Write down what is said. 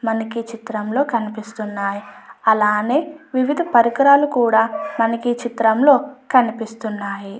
మనకి చిత్రంలో కనిపిస్తున్నాయి. అలానే వివిధ పరికరాలు కూడా మనకి చిత్రంలో కనిపిస్తున్నాయి.